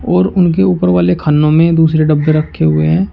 और उनके ऊपर वाले खानों में दूसरे डब्बे रखे हुए है।